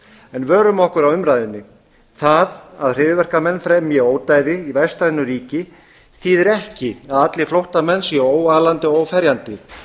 en vörum okkur á umræðunni það að hryðjuverkamenn fremji ódæði í vestrænu ríki þýðir ekki að allir flóttamenn séu óalandi og óferjandi